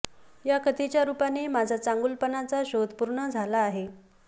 या कथेच्या रूपाने माझा चांगुलपणाचा शोध पूर्ण झाला आहे